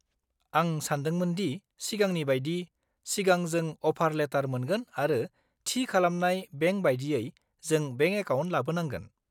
-आं सानदोंमोन दि सिगांनि बायदि, सिगां जों अफार लेटार मोनगोन आरो थि खालामनाय बेंक बायदियै, जों बेंक एकाउन्ट लाबोनांगोन।